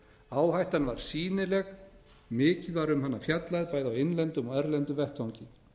áhættan var sýnileg mikið var um hana fjallað bæði á innlendum og erlendum vettvangi